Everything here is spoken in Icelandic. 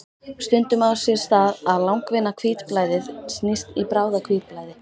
Stundum á sér stað að langvinna hvítblæðið snýst í bráða-hvítblæði.